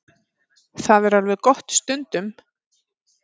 Það er alveg gott stundum.